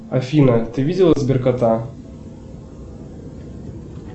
афина ты видела сбер кота